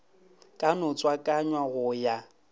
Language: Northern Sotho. ka no tswakanywa go ya